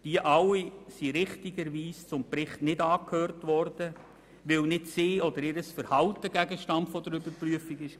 All diese Akteure wurden richtigerweise nicht zum Bericht angehört, weil nicht sie oder ihr Verhalten Gegenstand der Überprüfung waren.